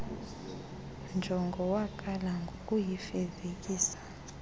njongo waqala ngokuyifezekisa